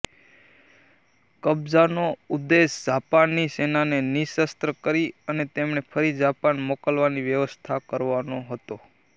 કબ્જાનો ઉદ્દેશ જાપાની સેનાને નિઃશસ્ત્ર કરી અને તેમને ફરી જાપાન મોકલવાની વ્યવસ્થા કરવાનો હતો